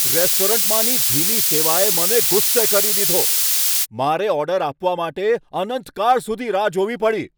રેસ્ટોરન્ટમાંની ધીમી સેવાએ મને ગુસ્સે કરી દીધો. મારો ઓર્ડર આપવા માટે મારે અનંતકાળ સુધી રાહ જોવી પડી!